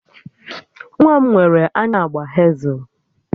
Nwa m nwere anya agba hezel